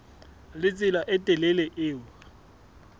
le tsela e telele eo